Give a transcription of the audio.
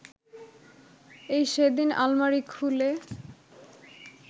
এই সেদিন আলমারি খুলে